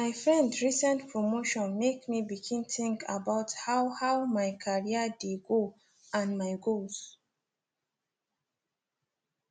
my friend recent promotion make me begin think about how how my career dey go and my goals